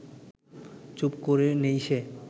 চুপ করে নেই সে